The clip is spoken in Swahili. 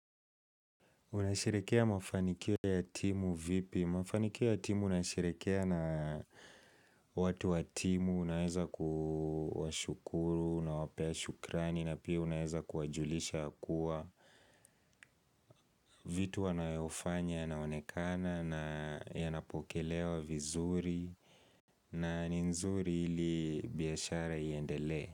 Unasherehekea mafanikio ya timu vipi? Mafanikio ya timu nayasherehekea na watu wa timu, unaweza kuwashukuru, unawapea shukrani, na pia unaweza kuwajulisha ya kuwa. Vitu wanayofanya yanaonekana na yanapokelewa vizuri na ni nzuri ili biashara iendelee.